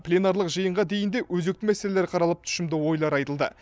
пленарлық жиынға дейін де өзекті мәселелер қаралып тұшымды ойлар айтылды